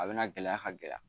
A bɛna gɛlɛya ka gɛlɛ